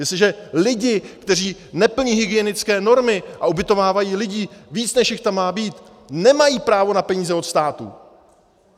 Jestliže lidi, kteří neplní hygienické normy a ubytovávají víc lidí, než jich tam má být, nemají právo na peníze od státu.